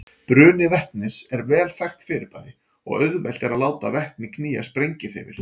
Bruni vetnis er vel þekkt fyrirbæri og auðvelt er að láta vetni knýja sprengihreyfil.